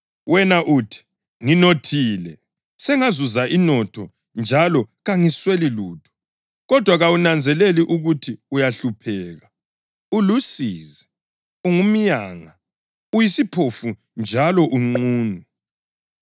Wena uthi, ‘Nginothile; sengazuza inotho njalo kangisweli lutho.’ Kodwa kawunanzeleli ukuthi uyahlupheka, ulusizi, ungumyanga, uyisiphofu njalo unqunu.